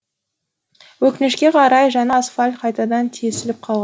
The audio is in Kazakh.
өкінішке қарай жаңа асфальт қайтадан тесіліп